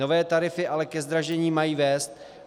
Nové tarify ale ke zdražení mají vést.